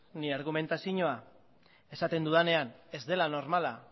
nire argumentazioa esaten dudanean ez dela normala